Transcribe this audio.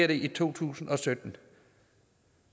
i to tusind og sytten